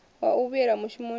wa u vhuyela mushumoni na